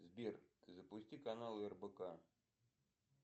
сбер запусти канал рбк